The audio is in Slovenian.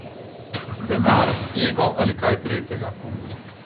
Denar, ego ali kaj tretjega?